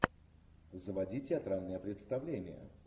заводи театральное представление